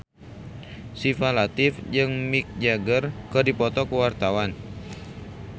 Syifa Latief jeung Mick Jagger keur dipoto ku wartawan